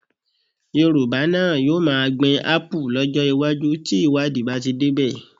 Yorùbá náà yóò máa gbin Ápù lọ́jọ́ iwájú tí ìwádìí bá ti débẹ̀